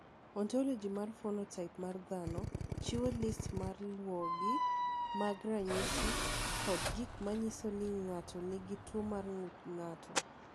"Ontologi mar phenotaip mar dhano chiwo list ma luwogi mag ranyisi kod gik ma nyiso ni ng’ato nigi tuwo mar ng’ut ng’ato."